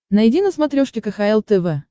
найди на смотрешке кхл тв